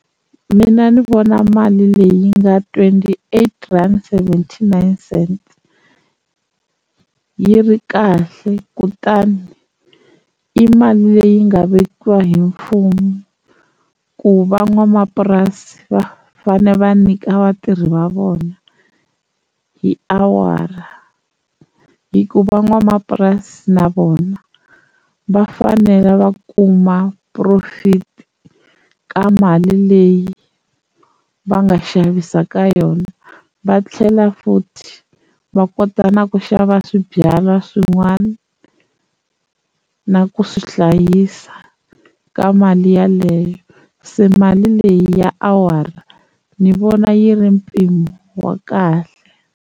Mina ni vona mali leyi nga twenty-eight rand seventy-nine cents yi ri kahle kutani i mali leyi nga vekiwa hi mfumo ku van'wamapurasi va fanele va nyika vatirhi va vona hi awara, hi ku van'wamapurasi na vona va fanele va kuma profit ka mali leyi va nga xavisa ka yona va tlhela futhi va kota na ku xava swibyala swin'wani na ku swi hlayisa ka mali yeleyo se mali leyi ya awara ni vona yi ri mpimo wa kahle.